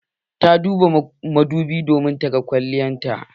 Ta duba madobin domin ta ga kwalliyar ta.